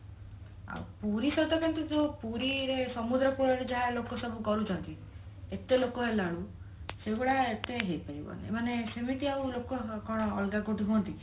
ଆଉ ପୁରୀ ସହିତ କେମତି ସିଏ ପୁରୀ ରେ ସମୁଦ୍ର କୂଳରେ ଯାହା ଲୋକ ସବୁ କରୁଛନ୍ତି ଏତେ ଲୋକ ହେଲଣି ସେଇଭଳିଆ ଏତେ ହେଇ ପାରିବନି ମାନେ ସେମିତି ଆଉ ଲୋକ କଣ ଅଲଗା କୋଉଠି ହଅନ୍ତି